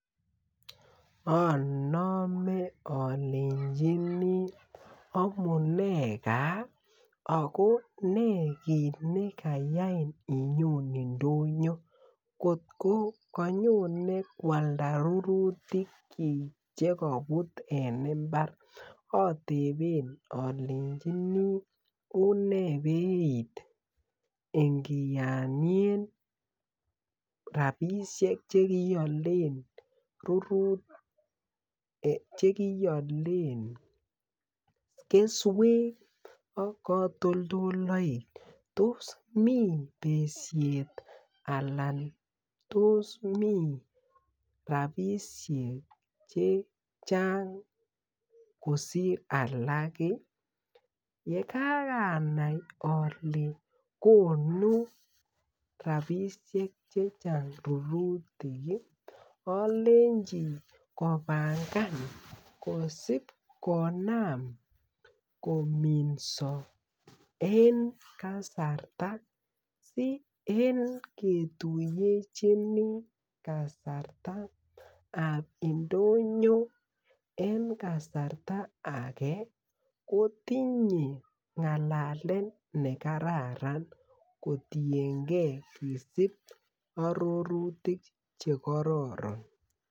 Onome olenjini omunee gaa ago ne kit nekayain inyon indonyo kotko kanyone kwalda rurutikyik chekobut eng imbar oteben olenjini une beit ingiyonyen rabisiek che kiiolen rurutik che kiiolen kesywek ak katoldolloik tos mi besyet anan tos mi rabisiek chechang kosir alak iih ,ye karanai ole konu rabisiek chechang rurutik iih olenji kobangan kosob konam kominso eng kasarta si eng ketuyechini kasartab indonyo eng kasarta age kotinye ngalalet me kararan kotiengen kisib ororitik che kororon.